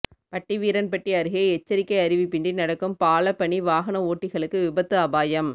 பட்டிவீரன்பட்டி அருகே எச்சரிக்கை அறிவிப்பின்றி நடக்கும் பாலப் பணி வாகன ஓட்டிகளுக்கு விபத்து அபாயம்